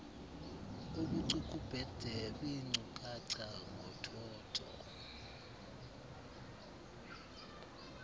ubucukubhede beenkcukacha ngothotho